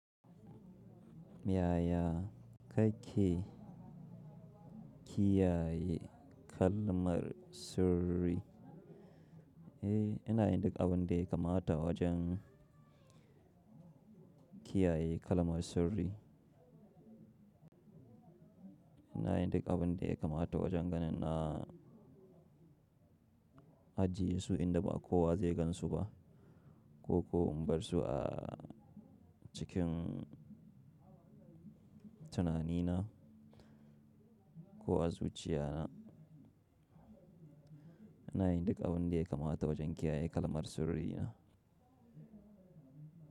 Miyaya, ka ke kiyaye kalmar sirri? Eh, ina yin duk abin da ya kamata wajen, kiyaye kalmar sirri. Ina yin duk abin da yakamata wajen ganin na ajiye su inda ba kowa zai gan su ba ko ko in bar su a cikin tunanina ko a zuciyana. Ina yin duk abin da yakamata wajen kiyaye kalmar sirri na.